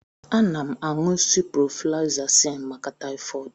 A na m aṅụ ciprofloxacin maka taifod